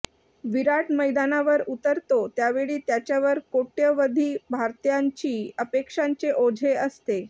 विराट मैदानावर उतरतो त्यावेळी त्याच्यावर कोट्यवधी भारतीयांच्या अपेक्षांचे ओझे असते